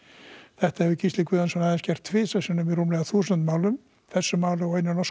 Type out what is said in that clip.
þetta hafi Gísli Guðjónsson aðeins gert tvisvar í yfir þúsund málum þessu máli og einu norsku